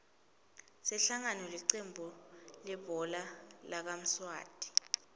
sihlangu licembu lihbhola lakamswati